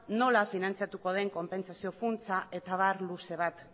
nola finantzatuko den konpentsazio funtsa eta abar luze bat